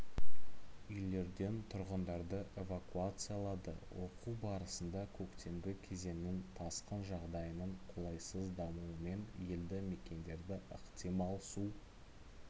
үйлерден тұрғындарды эвакуациялады оқу барысында көктемгі кезеңнің тасқын жағдайының қолайсыз дамуымен елді мекендерді ықтимал су